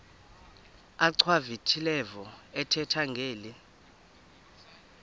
achwavitilevo ethetha ngeli